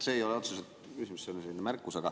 See ei ole otseselt küsimus, see on selline märkus.